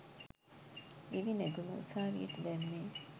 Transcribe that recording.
දිවි නැගුම උසාවියට දැම්මේ?